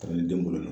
Kalandenw bolo la